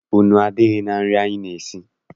Nnu adịghị na nri anyị na-eri.